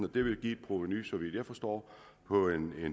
det vil give et provenu så vidt jeg forstår på